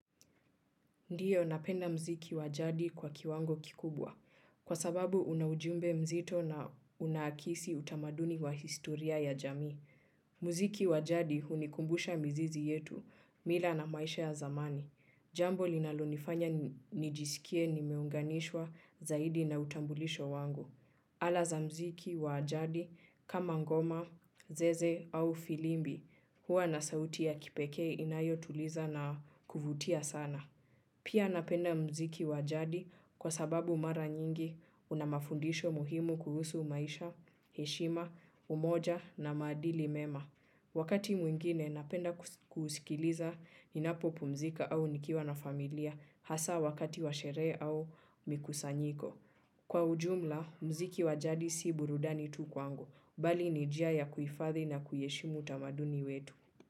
Ndiyo, napenda mziki wa jadi kwa kiwango kikubwa, kwa sababu una ujumbe mzito na unaakisi utamaduni wa historia ya jamii. Mziki wa jadi unakumbusha mzizi yetu, mila na maisha ya zamani. Jambo linalonifanya nijisikie nimeunganishwa zaidi na utambulisho wangu. Ala za mziki wa jadi kama ngoma, zeze au filimbi huwa na sauti za kipekee na za kuvutia sana. Pia napenda mziki wa jadi kwa sababu mara nyingi una mafundisho muhimu kuhusu maisha, heshima, umoja na maadili mema. Wakati mwingine napenda kusikiliza ninapopumzika au nikiwa na familia hasa wakati washerehe au mikusanyiko. Kwa ujumla, mziki wa jadi si burudani tu kwangu, bali ni njia ya kuhifadhi na kuheshimu utamaduni wetu.